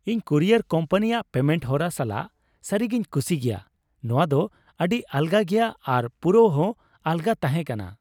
ᱤᱧ ᱠᱩᱨᱤᱭᱟᱨ ᱠᱳᱢᱯᱟᱱᱤᱭᱟᱜ ᱯᱮᱢᱮᱱᱴ ᱦᱚᱨᱟ ᱥᱟᱞᱟᱜ ᱥᱟᱹᱨᱤᱜᱮᱧ ᱠᱩᱥᱤ ᱜᱮᱭᱟ ᱾ ᱱᱚᱶᱟ ᱫᱚ ᱟᱹᱰᱤ ᱟᱞᱜᱟ ᱜᱮᱭᱟ ᱟᱨ ᱯᱩᱨᱟᱹᱣᱦᱚᱸ ᱟᱞᱜᱟ ᱛᱟᱦᱮᱸ ᱠᱟᱱᱟ ᱾